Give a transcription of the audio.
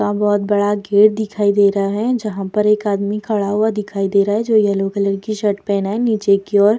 का बहुत बड़ा गेट दिखाई दे रहा है जहां पर एक आदमी खड़ा हुआ दिखाई दे रहा है जो येलो कलर की शर्ट पहना है नीचे की ओर --